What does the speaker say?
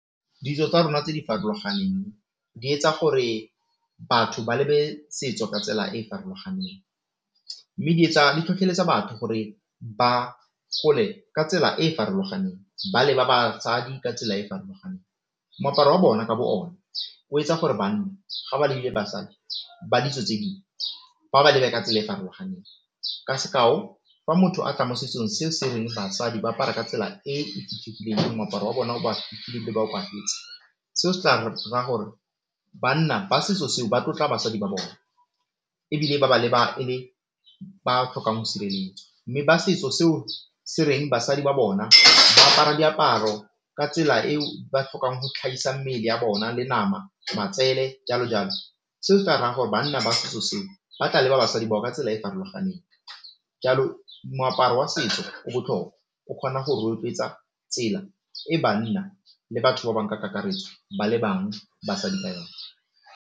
Ditso tsa rona tse di farologaneng di etsa gore batho ba lebe setso ka tsela e farologaneng, mme di etsa, di tlhotlheletsa batho gore ba gole ka tsela e farologaneng, ba leba batsadi ka tsela e farologaneng. Moaparo wa bona ka bo ona o etsa gore banna ga ba lebile basadi ba ditso tse ding ba ba lebe ka tsela e farologaneng. Ka sekao fa motho a tla mo setsong se se reng basadi ba apara ka tsela e moaparo seo se tla ra gore banna ba setso seo ba tlotla basadi ba bona ebile ba ba leba e le ba tlhokang go sireletswa, mme ba setso seo se reng basadi ba bona ba apara diaparo ka tsela eo ba tlhokang go tlhagisa mmele ya bona le nama, matsele jalo-jalo, seo se tla raya gore banna ba setso seo ba tla leba basadi bao ka tsela e farologaneng. Jalo moaparo wa setso o botlhokwa, o kgona go rotloetsa tsela e banna le batho ba bang ka kakaretso ba lebang basadi ba yone.